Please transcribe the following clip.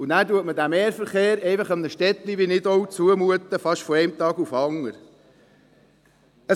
Zudem mutet man einem Städtlein wie Nidau den Mehrverkehr fast von einem Tag auf den anderen zu.